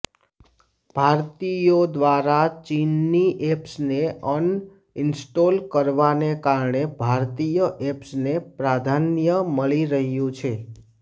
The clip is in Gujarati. ભારતીયો દ્વારા ચીનની એપ્સને અનઈન્સ્ટોલ કરવાને કારણે ભારતીય એપ્સને પ્રાધાન્ય મળી રહ્યું છે